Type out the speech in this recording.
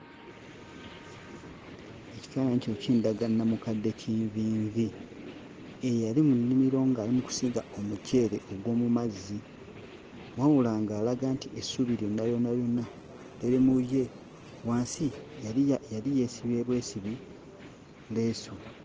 Ekifaananyi kino kindaga namukadde kinvinvi eyali mu nnimiro ng'ali mu kusiga omuceere ogw'omu mazzi wabula ng'alaga nti essuubi lyonna lyonna lyonna liri mu ye. Wansi yali ye yali yeesibye bwesibi leesu.